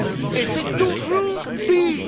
Et c'est toujours pire!